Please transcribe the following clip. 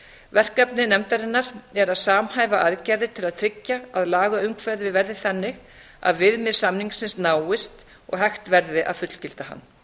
verkefni nefndarinnar er að samhæfa aðgerðir til að tryggja að lagaumhverfið verði þannig að viðmið samningsins náist og hægt verði að fullgilda hann